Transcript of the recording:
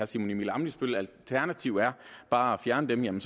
simon emil ammitzbølls alternativ er bare at fjerne dem